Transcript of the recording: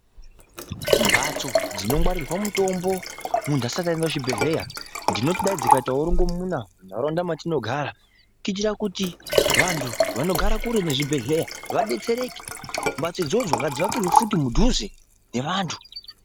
Mbatso dzinongwarirwa mutombo muntu asati aenda kuchibhedhlera dzinoti kwai dzikaitawo rongomuna mundaraunda matinogara kuitira kuti vantu vanogara kure nezvibhedhlera vadetsereke mbatso idzodzo ngadzivakirwe mudhuze nevantu.